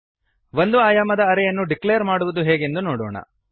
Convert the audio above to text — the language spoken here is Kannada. ಒಂದು ಆಯಾಮದ ಅರೇ ಯನ್ನು ಡಿಕ್ಲೇರ್ ಮಾಡುವುದು ಹೇಗೆಂದು ನೋಡೋಣ